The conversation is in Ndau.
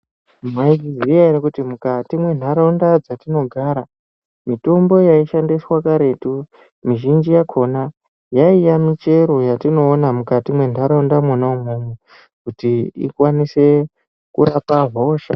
Mwaizviya ere kuti mukati mwentaraunda dzatinogara mitombo yaishandiswa kuretu mizhinji yakona yaiya michero yatinoona mukati mwentaraunda mwona umwomwo kuti ikwanise kurapa hosha.